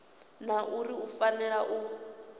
na uri u fanela u